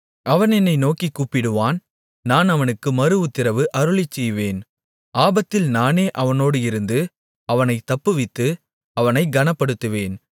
அவன் என்னை நோக்கிக் கூப்பிடுவான் நான் அவனுக்கு மறுஉத்திரவு அருளிச்செய்வேன் ஆபத்தில் நானே அவனோடு இருந்து அவனைத் தப்புவித்து அவனைக் கனப்படுத்துவேன்